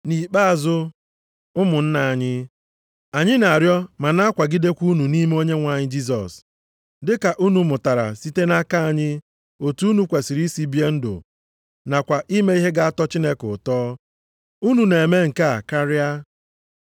Nʼikpeazụ, ụmụnna anyị, anyị na-arịọ ma na-akwagidekwa unu nʼime Onyenwe anyị Jisọs, dị ka unu mụtara site nʼaka anyị otu unu kwesiri isi bie ndụ, nakwa ime ihe ga-atọ Chineke ụtọ. Unu na-eme nke a karịa.